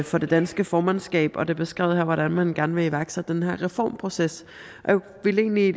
for det danske formandskab og det er beskrevet her hvordan man gerne vil iværksætte den her reformproces jeg vil egentlig